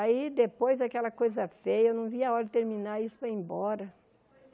Aí, depois, aquela coisa feia, eu não via a hora de terminar isso para ir embora.